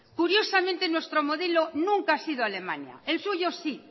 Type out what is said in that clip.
curiosamente nuestro modelo nunca ha sido alemania el suyo sí